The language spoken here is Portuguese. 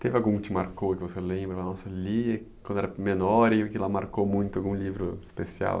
Teve algum que te marcou, que você lembra, que você lia quando era menor e que lá marcou muito algum livro especial?